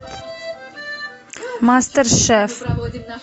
мастер шеф